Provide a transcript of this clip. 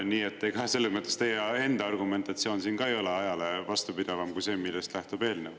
Nii et selles mõttes on teie enda argumentatsioon siin ka ei ole ajale vastupidavam kui see, millest lähtub eelnõu.